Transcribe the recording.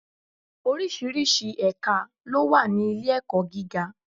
Oríṣiríṣi ẹ̀ka ló wà ní ilé-ẹ̀kọ́ gíga.